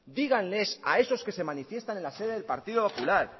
díganles a esos que se manifiestan en la sede del partido popular